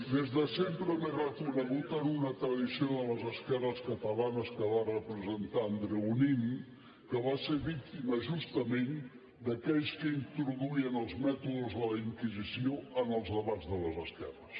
des de sempre m’he reconegut en una tradició de les esquerres catalanes que va representar andreu nin que va ser víctima justament d’aquells que introduïen els mètodes de la inquisició en els debats de les esquerres